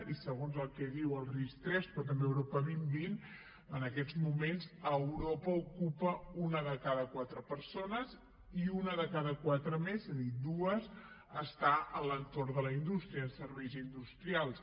i segons el que diu el ris3 però també europa dos mil vint en aquests moments a europa ocupa una de cada quatre persones i una de cada quatre més és a dir dues està a l’entorn de la indústria en serveis industrials